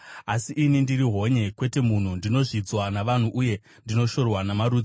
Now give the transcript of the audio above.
Asi ini ndiri honye kwete munhu, ndinozvidzwa navanhu uye ndinoshorwa namarudzi.